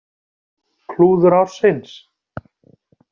Klúður ársins?